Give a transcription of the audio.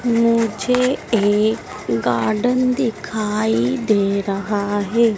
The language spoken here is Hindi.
मुझे एक गार्डन दिखाई दे रहा है।